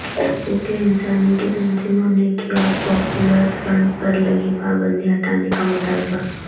حقوق انسانی کی تنظیموں نے کیا پاپولر فرنٹ پر لگی پابندی ہٹانے کا مطالبہ